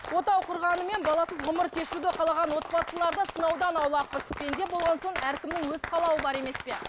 отау құрғанымен баласыз ғұмыр кешуді қалаған отбасыларды сынаудан аулақпыз пенде болған соң әркімнің өз қалауы бар емес пе